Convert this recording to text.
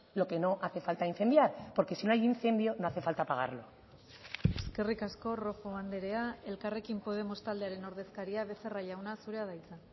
lo que no hace falta incendiar porque si no hay incendio no hace falta apagarlo eskerrik asko rojo andrea elkarrekin podemos taldearen ordezkaria becerra jauna zurea da hitza